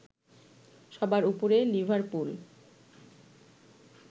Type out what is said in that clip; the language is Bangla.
সবার উপরে লিভারপুল